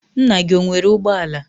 nna gi ọ nwere ugbo ala?